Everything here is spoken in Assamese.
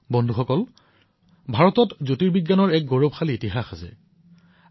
বন্ধুসকল ভাৰতৰ জ্যোতিৰ্বিজ্ঞানৰ ইতিহাস বহু প্ৰাচীন